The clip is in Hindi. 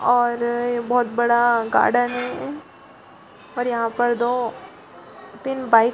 और बहुत बड़ा गार्डन है और यहाँ पर एक दो तीन बाइक --